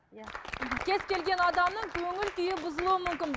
иә кез келген адамның көңіл күйі бұзылуы мүмкін